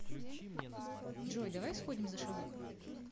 джой давай сходим за шавухой